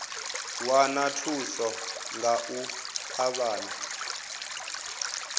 wana thuso nga u ṱavhanya